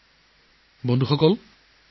বন্ধু বান্ধৱীসকল